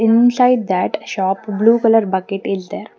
Inside that shop blue color bucket is there.